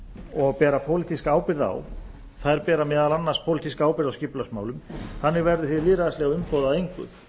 og bera pólitíska ábyrgð á þær bera meðal annars pólitíska ábyrgð á skipulagsmálum þannig verði hið lýðræðislega umboð að engu